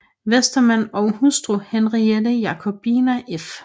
Westermann og hustru Henriette Jacobina f